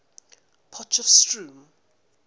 potchefstroom